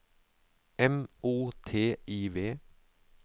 M O T I V